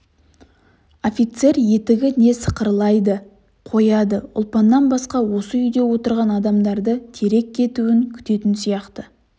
офицер етігі не сықырлайды қояды ұлпаннан басқа осы үйде отырған адамдардың тирек кетуін күтетін сияқты